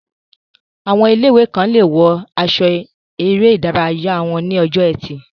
Àwọn ilé-ìwé kan lè wọ aṣọ eré ìdárayá wọn ní ọjọ́ ẹtì